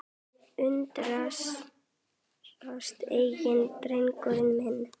Undrast enginn, drengur minn.